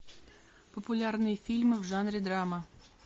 популярные фильмы в жанре драма